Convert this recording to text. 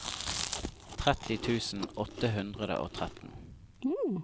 tretti tusen åtte hundre og tretten